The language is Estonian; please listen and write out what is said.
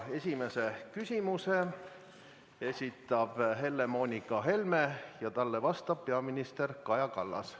Esimese küsimuse esitab Helle-Moonika Helme ja talle vastab peaminister Kaja Kallas.